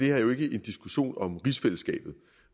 er jo ikke en diskussion om rigsfællesskabet